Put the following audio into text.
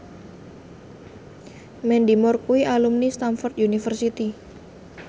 Mandy Moore kuwi alumni Stamford University